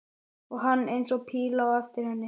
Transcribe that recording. Og hann eins og píla á eftir henni.